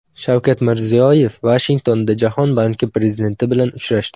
Shavkat Mirziyoyev Vashingtonda Jahon banki prezidenti bilan uchrashdi.